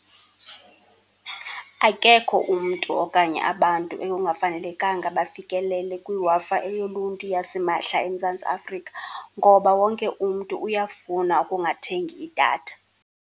Akekho umntu okanye abantu ekungafanelekanga bafikelele kwiWi-Fi eyoluntu yasimahla eMzantsi Afrika ngoba wonke umntu uyafuna ukungathengi idatha.